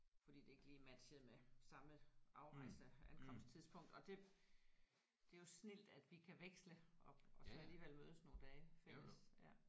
Fordi det ikke lige matchede med samme afrejse ankomsttidspunkt og det det er jo snildt at vi kan veksle og og så alligevel mødes nogle dage fælles ja